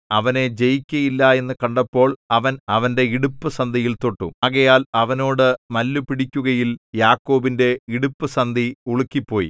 അവനെ ജയിക്കയില്ല എന്നു കണ്ടപ്പോൾ അവൻ അവന്റെ ഇടുപ്പുസന്ധിയിൽ തൊട്ടു ആകയാൽ അവനോട് മല്ലുപിടിക്കുകയിൽ യാക്കോബിന്റെ ഇടുപ്പുസന്ധി ഉളുക്കിപ്പോയി